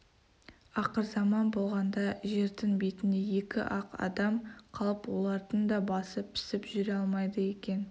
ақырзаман болғанда жердің бетінде екі-ақ адам қалып олардың да басы пісіп жүре алмайды екен